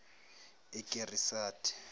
ikirisati